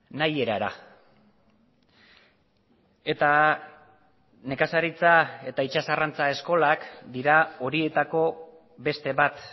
nahi erara eta nekazaritza eta itsas arrantza eskolak dira horietako beste bat